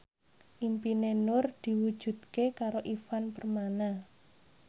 impine Nur diwujudke karo Ivan Permana